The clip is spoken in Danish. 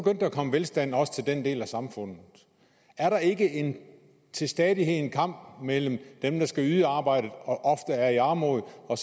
komme velstand også til den del af samfundet er der ikke til stadighed en kamp mellem dem der skal yde arbejdet og ofte er i armod og